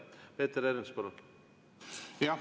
Peeter Ernits, palun!